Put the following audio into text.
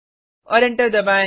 और एंटर दबाएँ